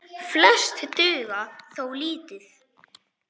Flest duga þó lítið.